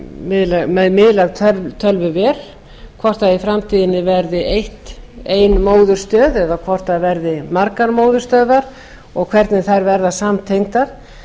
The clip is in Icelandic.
miðlæg tölvuver hvort í framtíðinni verði ein móðurstöð eða hvort það verði margar móðurstöðvar og hvernig þær verða samtengdar